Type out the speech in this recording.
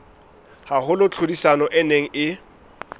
haholo tlhodisanong e neng e